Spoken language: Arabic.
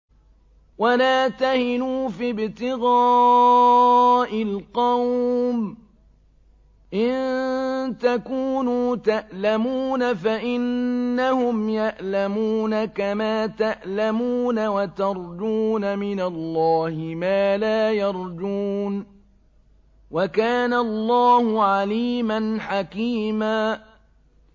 وَلَا تَهِنُوا فِي ابْتِغَاءِ الْقَوْمِ ۖ إِن تَكُونُوا تَأْلَمُونَ فَإِنَّهُمْ يَأْلَمُونَ كَمَا تَأْلَمُونَ ۖ وَتَرْجُونَ مِنَ اللَّهِ مَا لَا يَرْجُونَ ۗ وَكَانَ اللَّهُ عَلِيمًا حَكِيمًا